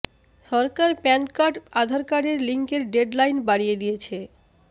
সরকার PAN card Aadhaar কার্ডের লিঙ্কের deadline বাড়িয়ে দিয়েছে